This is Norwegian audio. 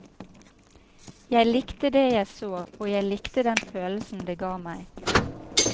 Jeg likte det jeg så, og jeg likte den følelsen det ga meg.